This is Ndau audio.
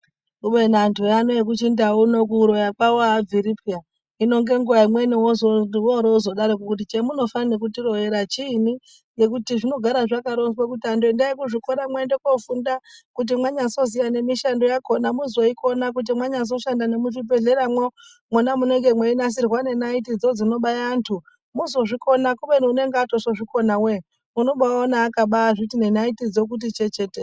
Kubeni anhu ano ekuchindau kuno kuroya kwawo abviri peya hino ngenguwa imweni woroowozodaro ngekuti chemunofa nekutoroyera chiinyi ngekuti zvinogara zvakaronzwa kuti anhu endai kuzvikora mwoende kofunda kuti mwanyazoziya nemishando yakona mozoikona kuti mwanyazoshanda nemuzvibhehlera mwo mwona munenge mweinasirwa nenaiti dzodzinobaya antu mwozozvikona kubeni unonge azotozvikona woye unobaawaone akazviti nenaitidzo chechetere.